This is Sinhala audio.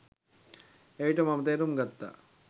එවිට මම තේරුම් ගත්තා.